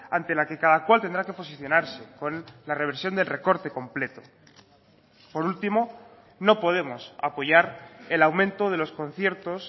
ante la que cada cual tendrá que posicionarse con la reversión del recorte completo por último no podemos apoyar el aumento de los conciertos